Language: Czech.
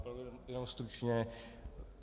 Opravdu jenom stručně.